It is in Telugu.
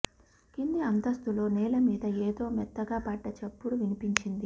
కింది అంతస్థులో నేల మీద ఏదో మెత్తగా పడ్డ చప్పుడు వినిపించింది